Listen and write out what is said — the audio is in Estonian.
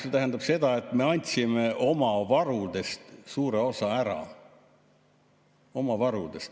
See tähendab seda, et me andsime oma varudest suure osa ära, oma varudest.